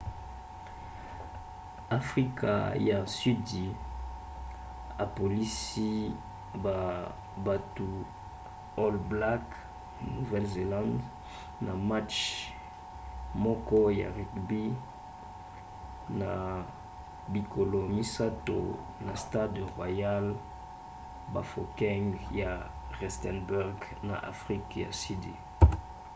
afrika ya sudi apolisi ba battu all blacks nouvelle-zélande na match moko ya rugby na bikolo misato na stade royal bafokeng ya rustenburg na afrika ya sudi